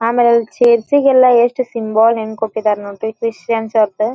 ಆಮೇಲೆ ಇಲ್ಲಿ ಚರ್ಚ್ ಗೆಲ್ಲಾ ಎಷ್ಟ ಸಿಂಬಲ್ ಹೆಂಗ ಕೊಟ್ಟಿದರ್ ನೋಡ್ರಿ ಕ್ರಿಶ್ಚಿಯನ್ಸ್ ಅರ್ಧ.